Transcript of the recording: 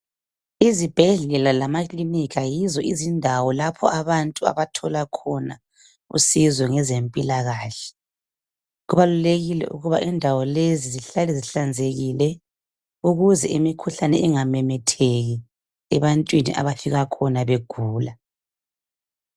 Izibhedlela lamakilinika yizo iziñdawo lapho abantu abathola khona usizo ngezempilakahle. Kubàlulekile ukuba zihlale zihlanzekile, ukuze imikhuhlane ingamemetheki ebantwini abafika khona begula.